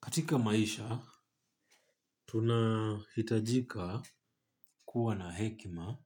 Katika maisha tunahitajika kuwa na hekima